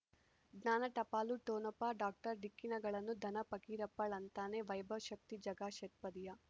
ಜ್ಞಾನ ಟಪಾಲು ಠೊಣಪ ಡಾಕ್ಟರ್ ಢಿಕ್ಕಿ ಣಗಳನು ಧನ ಫಕೀರಪ್ಪ ಳಂತಾನೆ ವೈಭವ್ ಶಕ್ತಿ ಝಗಾ ಷಟ್ಪದಿಯ